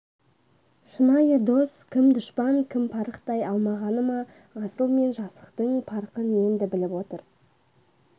шынайы дос кім дұшпан кім парықтай алмағаны ма асыл мен жасықтың парқын енді біліп отыр